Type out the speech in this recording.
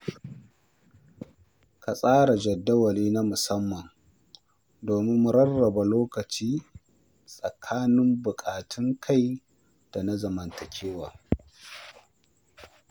Ka tsara jadawali na musamman domin rarraba lokaci tsakanin buƙatun kai da na zamantakewa.